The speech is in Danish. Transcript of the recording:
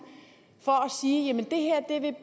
for